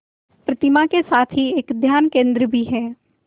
प्रतिमा के साथ ही एक ध्यान केंद्र भी है